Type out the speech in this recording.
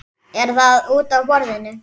Er það útaf borðinu?